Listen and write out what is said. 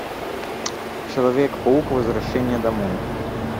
человек паук возвращение домой